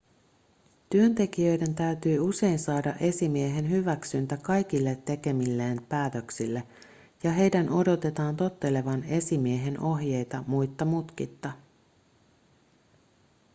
työntekijöiden täytyy usein saada esimiehen hyväksyntä kaikille tekemilleen päätöksille ja heidän odotetaan tottelevan esimiehen ohjeita muitta mutkitta